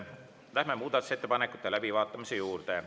Läheme muudatusettepanekute läbivaatamise juurde.